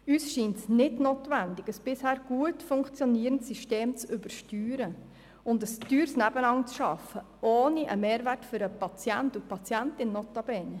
Uns scheint es nicht notwendig, ein bisher gut funktionierendes System zu übersteuern und ein teures Nebeneinander zu schaffen, notabene ohne einen Mehrwert für die Patientinnen und Patienten zu erzielen.